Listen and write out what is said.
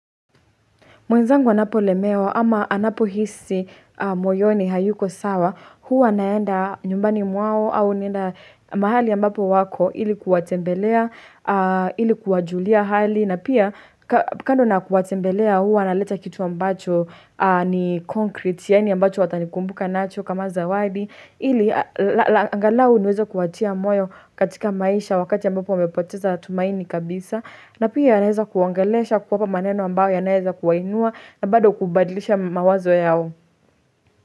Mwenzangu anapolemewa ama anapohisi moyoni hayuko sawa, huwa naenda nyumbani mwao au naenda mahali ambapo wako ili kuwatembelea, ili kuwajulia hali, na pia kando na kuwatembelea huwa naleta kitu ambacho ni concrete yani ambacho watanikumbuka nacho kama zawabi. Ili angalau niweze kuatia moyo katika maisha, wakati ambapo wamepoteza tumaini kabisa na pia naweza kuwaongelesha kuwapa maneno ambayo yanayoweza kuwainua na bado kubadilisha mawazo yao.